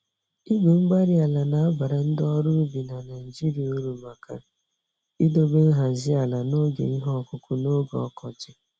Igwe-mgbárí-ala nabara ndị ọrụ ubi na Nigeria uru maka idobe nhazi ala n'oge ihe ọkụkụ n'oge ọkọchị